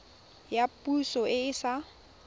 ya poso e e sa